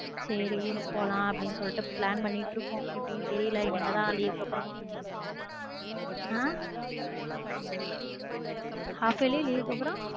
சரி ஊருக்கு போலாம் அப்டின்னு சொல்லிட்டு plan பண்ணிட்டு இருக்கோம் தெரியல இனிமே தான் leave க்கு அப்றம் அஹ் half yearly leave க்கு அப்றம்